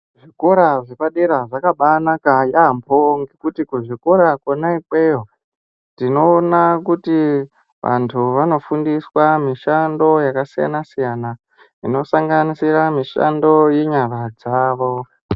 Zvikora zvepadera zvakabanaka yaambo nekuti kuzvikora zvepadera tinoona kuti vantu vanofundiswa mishando yakasiyana siyanan inosanganisira mishando yenyara dzavo.